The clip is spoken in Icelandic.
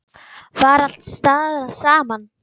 Var alls staðar sama sagan?